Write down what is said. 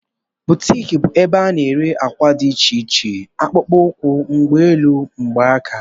Boutiki bụ ebe ana ere àkwà dị iche iche, akpụkpọ ukwu, mgbanolu, mgbanaka wdg.